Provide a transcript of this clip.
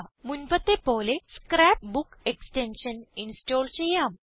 മുൻപത്തെ പോലെ scrapbook extension install ചെയ്യാം